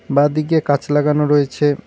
বাঁদিকে কাচ লাগানো রয়েছে।